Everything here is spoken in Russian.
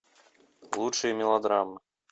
лучшие мелодрамы